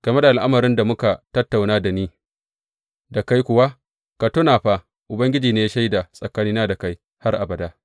Game da al’amarin da muka tattauna da ni da kai kuwa, ka tuna fa Ubangiji ne shaida tsakanina da kai har abada.